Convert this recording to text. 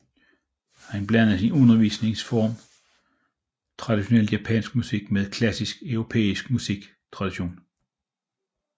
Han blandede i sin undervisnings form traditionel japansk musik med klassisk europæisk musik tradition